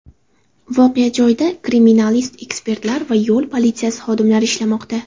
Voqea joyida kriminalist-ekspertlar va yo‘l politsiyasi xodimlari ishlamoqda.